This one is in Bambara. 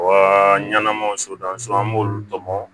Wa ɲanamaw an b'olu tɔmɔ